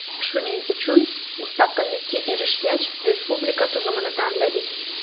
Shuning uchun mustaqillikka erishgach, respublika tuzumini tanladik.